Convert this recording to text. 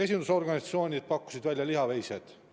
Esindusorganisatsioonid pakkusid välja lihaveised.